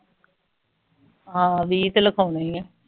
ਹਾਂ ਵੀਂ ਤੇ ਲਿਖਵਾਨੇ ਆ